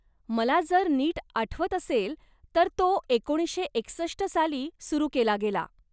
मला जर नीट आठवत असेल, तर तो एकोणीशे एकसष्ट साली सुरू केला गेला.